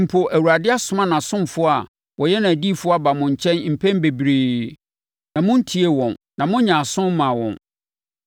Mpo Awurade asoma nʼasomfoɔ a wɔyɛ nʼadiyifoɔ aba mo nkyɛn mpɛn bebree, na montiee wɔn, na monyɛɛ aso mmaa wɔn.